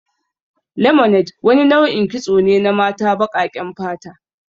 Lemonade wani nau'in kitso ne na mata baƙaƙen fata.